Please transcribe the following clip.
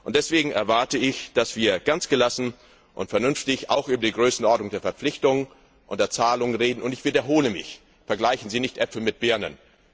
Deswegen erwarte ich, dass wir ganz gelassen und vernünftig auch über die Größenordnung der Verpflichtungen und der Zahlungen reden, und ich wiederhole mich Vergleichen Sie nicht Äpfel mit Birnen!